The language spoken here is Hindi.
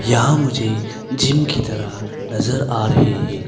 यह मुझे जिम की तरह नजर आ रहे हैं।